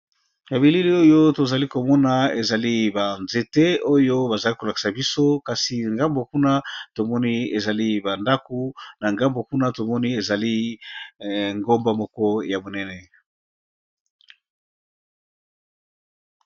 Na bilili oyo tozali komona ezali banzete oyo bazali kolakisa biso kasi ngambo kuna tomoni ezali bandaku na ngambo kuna tomoni ezali ngomba moko ya monene